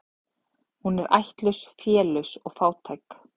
Hún ættlaus, félaus og fátæk.